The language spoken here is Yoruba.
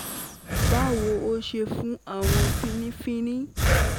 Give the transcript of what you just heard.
Bawo, o ṣeun fun pese awọn finifini itan ti o